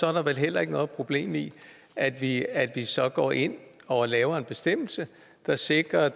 er der vel heller ikke noget problem i at vi at vi så går ind og laver en bestemmelse der sikrer